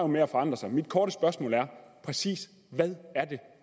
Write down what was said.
med at forandre sig mit korte spørgsmål er præcis hvad